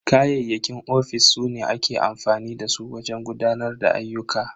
Kayayyakin cikin ofis su ne ake amfani da su wajen gudanar da ayyuka.